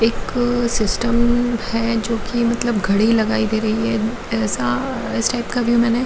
एक सिस्टम हैजो कि मतलब घड़ी लगाई गई है ऐसा टाइप का भी मैंने --